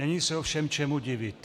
Není se ovšem čemu divit.